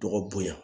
Dɔgɔ bonya